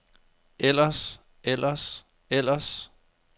ellers ellers ellers